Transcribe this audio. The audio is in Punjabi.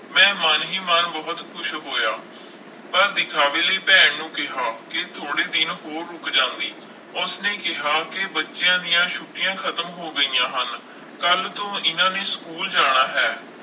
ਮੈਂ ਮਨ ਹੀ ਮਨ ਬਹੁਤ ਖ਼ੁਸ਼ ਹੋਇਆ, ਪਰ ਵਿਖਾਵੇ ਲਈ ਭੈਣ ਨੂੰ ਕਿਹਾ ਕਿ ਥੋੜ੍ਹੇ ਦਿਨ ਹੋਰ ਰੁੱਕ ਜਾਂਦੀ, ਉਸਨੇ ਕਿਹਾ ਕਿ ਬੱਚਿਆਂ ਦੀਆਂ ਛੁੱਟੀਆਂ ਖਤਮ ਹੋ ਗਈਆਂ ਹਨ, ਕੱਲ੍ਹ ਤੋਂ ਇਹਨਾਂ ਨੇ ਸਕੂਲ ਜਾਣਾ ਹੈ।